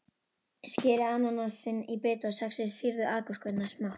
Skerið ananasinn í bita og saxið sýrðu agúrkurnar smátt.